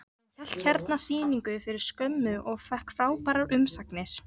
Hann hélt hérna sýningu fyrir skömmu og fékk frábærar umsagnir.